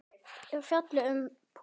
er fjallað um púður.